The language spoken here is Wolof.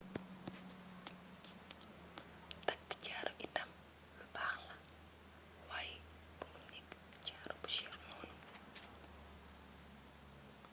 takk jaaro itam lu baax la waaye bumu nekk jaaro bu cher noonu